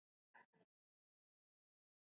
Hann er mjög hár.